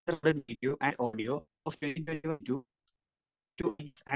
speaker 1 video and audio off 2021-2022